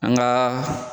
An ka